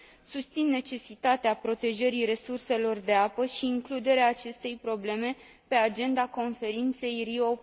Susțin necesitatea protejării resurselor de apă și includerea acestei probleme pe agenda conferinței Rio